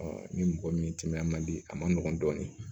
ni mɔgɔ min timinan man di a ma nɔgɔn dɔɔnin